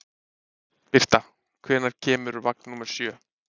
Birta, hvenær kemur vagn númer sjö?